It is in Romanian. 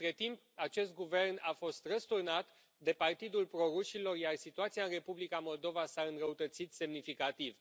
Între timp acest guvern a fost răsturnat de partidul pro rușilor, iar situația în Republica Moldova s a înrăutățit semnificativ.